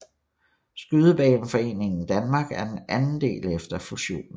Skydebaneforeningen Danmark er den anden del efter fusionen